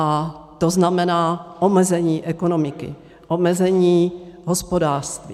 A to znamená omezení ekonomiky, omezení hospodářství.